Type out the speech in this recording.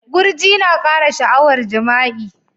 Gurji na kara sha'awar jima'i.